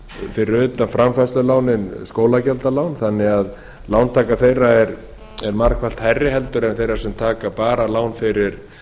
fyrir utan framfærslulánin skólagjaldalán þannig að lántaka þeirra er margfalt hærri heldur en þeirra sem taka bara lán fyrir